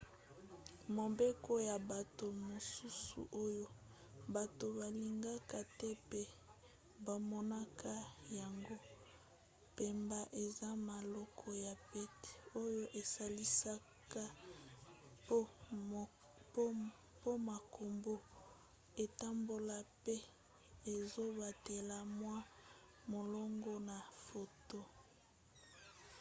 mobeko ya bato mosusu oyo bato balingaka te pe bamonaka yango pamba eza malako ya pete oyo esalisaka po makambo etambola pe ezobatela mwa molongo na foto